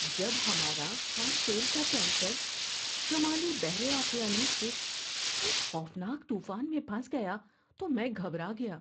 جب ہمارا خام تیل کا ٹینکر شمالی بحر اوقیانوس کے ایک خوفناک طوفان میں پھنس گیا تو میں گھبرا گیا۔